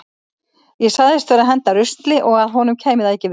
Ég sagðist vera að henda rusli og að honum kæmi það ekki við.